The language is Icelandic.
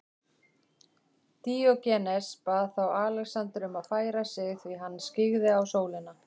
Díógenes bað þá Alexander um að færa sig því hann skyggði á sólina.